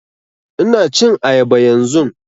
Ina cin ayaba yanzun